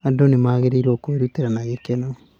Andũ magĩrĩirũo nĩ kwĩrutĩra na gĩkeno.